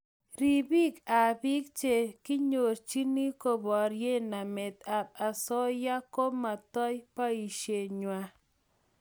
Ribiik ab biik che kinyorchini koborie namet ab asoya ko metoi boishe ngwai